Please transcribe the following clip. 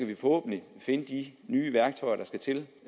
vi forhåbentlig finde de nye værktøjer der skal til